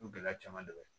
O gɛlɛya caman dɔ bɛ ye